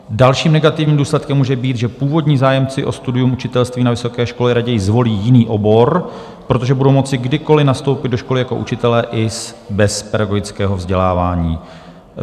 Dalším negativním důsledkem může být, že původní zájemci o studium učitelství na vysoké škole raději zvolí jiný obor, protože budou moci kdykoliv nastoupit do školy jako učitelé i bez pedagogického vzdělávání.